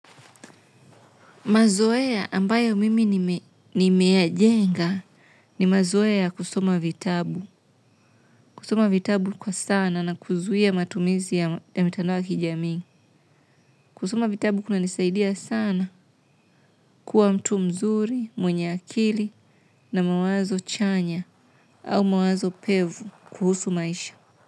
Mazoea ambayo mimi nimeya jenga ni mazoea kusoma vitabu. Kusoma vitabu kwa sana na kuzuia matumizi ya mitandoa kijami. Kusoma vitabu kuna nisaidia sana kuwa mtu mzuri, mwenye akili na mawazo chanya au mawazo pevu kuhusu maisha.